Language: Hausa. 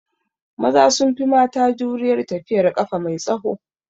Maza sun fi mata jurar tafiyar ƙafa mai tsaho